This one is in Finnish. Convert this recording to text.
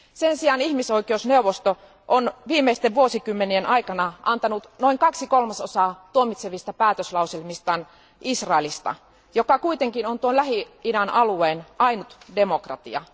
Sen sijaan ihmisoikeusneuvosto on viimeisten vuosikymmenien aikana antanut noin kaksi kolmasosaa tuomitsevista päätöslauselmistaan Israelista, joka kuitenkin on tuon Lähi idän alueen ainut demokratia.